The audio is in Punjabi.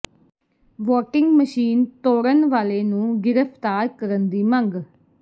ਵੋਟਿੰਗ ਮਸ਼ੀਨ ਤੋੜਨ ਵਾਲੇ ਨੂੰ ਗ੍ਰਿਫਤਾਰ ਕਰਨ ਦੀ ਮੰਗ